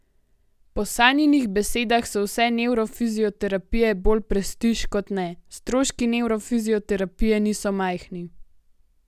Po Sanjinih besedah so vse nevrofizioterapije bolj prestiž kot ne: 'Stroški nevrofizioterapije niso majhni.